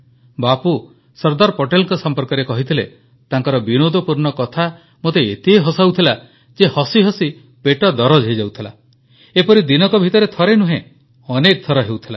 ବାପୁ ସର୍ଦ୍ଦାର ପଟେଲଙ୍କ ସମ୍ପର୍କରେ କହିଥିଲେ ତାଙ୍କର ବିନୋଦପୂର୍ଣ୍ଣ କଥା ମୋତେ ଏତେ ହସାଉଥିଲା ଯେ ହସିହସି ପେଟ ଦରଜ ହୋଇଯାଉଥିଲା ଏପରି ଦିନକ ଭିତରେ ଥରେ ନୁହେଁ ଅନେକ ଥର ହେଉଥିଲା